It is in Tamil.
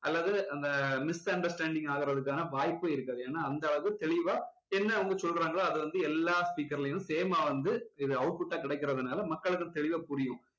அல்லது அந்த misunderstanding ஆகுறதுக்கான வாய்ப்பே இருக்காது ஏன்னா அந்த அளவுக்கு தெளிவா என்ன வந்து சொல்றாங்களோ அது வந்து எல்லாம் speaker லயும் same மா வந்து இது output ஆ கிடைக்குறதுனால மக்களுக்கும் தெளிவா புரியும்